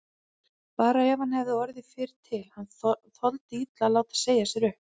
Bara ef hann hefði orðið fyrri til, hann þoldi illa að láta segja sér upp.